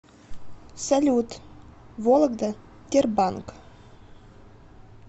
салют вологда тербанк